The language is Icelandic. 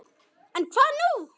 En hvað nú?